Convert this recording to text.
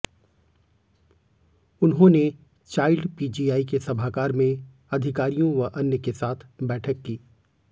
उन्होंने child PGI के सभागार में अधिकारियों व अन्य के साथ बैठक की